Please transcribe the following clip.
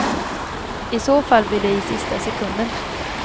I så fall blir det i sista sekunden.